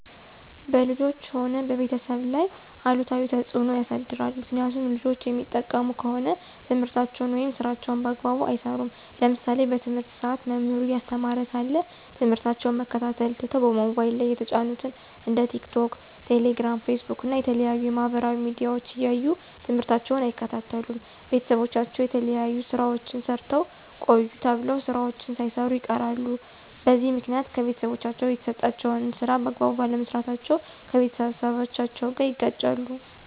በልጆች ሆነ በቤተሰብ ላይ አሉታዊ ተፅዕኖ ያሳድራል። ምክኒያቱም ልጆች የሚጠቀሙ ከሆነ ትምህርታቸውን ወይም ስራቸውን በአግባቡ አይሰሩም። ለምሳሌ በትምህርት ሰአት መምህሩ እያስተማረ ሳለ ትምህርታቸውን መከታተል ትተው በሞባይል ላይ የተጫኑትን እንደ ቲክቶክ፣ ቴሌግራም፣ ፌስቡክ እና የተለያዩ የማህበራዊ ሚዲያዎች እያዩ ትምህርታቸውን አይከታተሉም። ቤተሰቦቻቸው የተለያዩ ስራዎችን ሰርታችሁ ቆዩ ተብለው ስራዎችን ሳይሰሩ ይቀራሉ። በዚህ ምክኒያት ከቤተሰቦቻቸው የተሰጣቸውን ስራ በአግባቡ ባለመስራታቸው ከቤተሰቦቻቸው ጋር ይጋጫሉ።